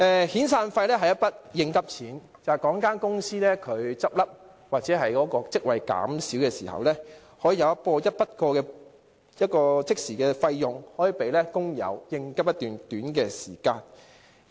遣散費是一筆應急錢，例如一間公司結業或職位減少時，可即時提供一筆過的款項給工友，作短期應急之用。